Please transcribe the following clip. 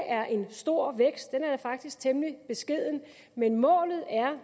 er en stor vækst den er faktisk temmelig beskeden men målet er